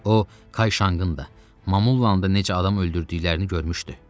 O, Kay Şanqın da, Mamulların da necə adam öldürdüklərini görmüşdü.